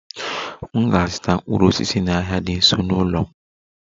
M ga-azụta mkpụrụ osisi n'ahịa dị nso n'ụlọ m